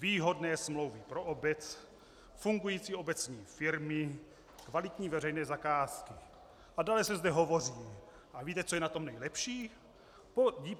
Výhodné smlouvy pro obec, fungující obecní firmy, kvalitní veřejné zakázky, a dále se zde hovoří: "A víte, co je na tom nejlepší?